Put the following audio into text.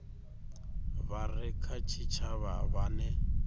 vha re kha tshitshavha vhane